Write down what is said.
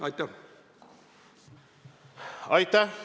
Aitäh!